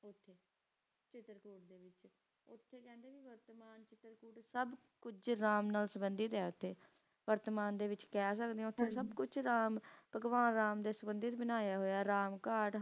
ਤੇ ਸਬ ਕੁਛ ਸਬੀਡੀਠ ਹੈ ਕ ਵਰਤਨ ਦੇ ਵਿਚ ਕਹਿ ਘਾਟ